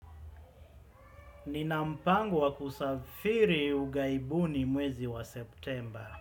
Nina mpango wa kusafiri ughaibuni mwezi wa September.